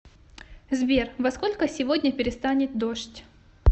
сбер во сколько сегодня перестанет дождь